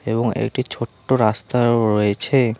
এবং একটি ছোট্ট রাস্তাও রয়েছে।